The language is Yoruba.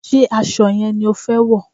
Ṣé aṣọ yẹn ni o fẹ wọ̀?